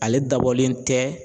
Ale dabɔlen tɛ